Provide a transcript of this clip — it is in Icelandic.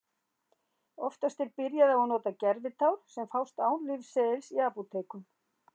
Oftast er byrjað á að nota gervitár sem fást án lyfseðils í apótekum.